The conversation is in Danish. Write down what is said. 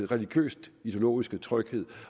religiøst ideologiske tryghed